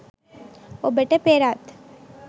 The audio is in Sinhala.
ඔබට පෙරත්